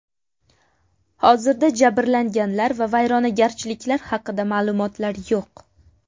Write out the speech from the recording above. Hozirda jabrlanganlar va vayronagarchiliklar haqida ma’lumotlar yo‘q.